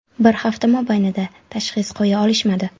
Bir hafta mobaynida tashxis qo‘ya olishmadi.